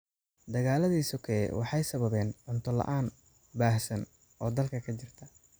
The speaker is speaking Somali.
Dagaaladii sokeeye waxay sababeen cunto la�aan baahsan oo dalka ka jirta.